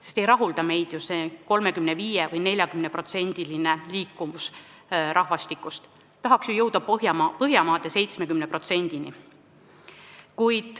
Meid ei rahulda ju see 35%-ne või 40%-ne rahvastiku liikuvus, tahaks jõuda Põhjamaade 70%-ni.